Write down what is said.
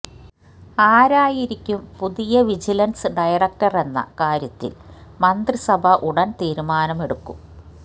ആരായിരിക്കും പുതിയ vigilance director എന്ന കാര്യത്തില് മന്ത്രിസഭ ഉടന് തീരുമാനം എടുക്കും